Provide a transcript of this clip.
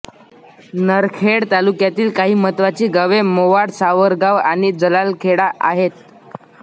नरखेड तालुकयातील काही महतवाची गावे मोवाडसावरगाव आणि जलालखेडा आहेत